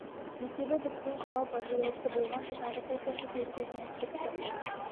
есебі біткенше жалпы жиылысы болғанша тағы сол сияқты себептермен уақытша тоқтап тұр